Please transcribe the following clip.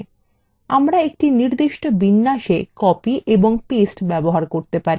আমরা একটি নির্দিষ্ট বিন্যাসে copy এবং paste ব্যবহার করতে পারি